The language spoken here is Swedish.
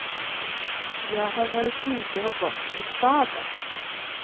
Jag har varit ute och gått i staden.